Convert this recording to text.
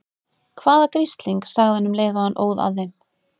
Hvaða grisling. sagði hann um leið og hann óð að þeim.